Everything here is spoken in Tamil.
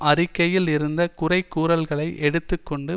அறிக்கையில் இருந்த குறை கூறல்களை எடுத்து கொண்டு